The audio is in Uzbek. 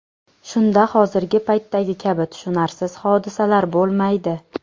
Shunda hozirgi paytdagi kabi tushunarsiz hodisalar bo‘lmaydi.